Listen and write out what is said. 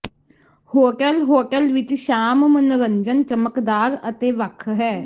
hotel hotel ਵਿਚ ਸ਼ਾਮ ਮਨੋਰੰਜਨ ਚਮਕਦਾਰ ਅਤੇ ਵੱਖ ਹੈ